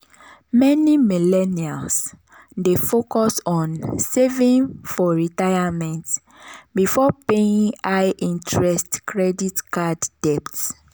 meni millennials dey focus on saving for retirement before paying high-interest credit card debts.